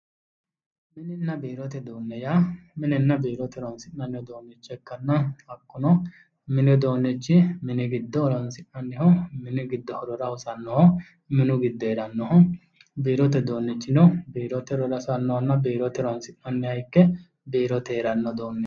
mininna biirote uduunne yaa minenna biirote horonsi'nanni uduunnicho ikkanna hakkuno mini uduunnichi mini giddo horonsi'nayi mini giddo horora hosannohominu giddo heerannoho biirote uduunnichino biirote horora hosannohonna ikke biirote heerannoho.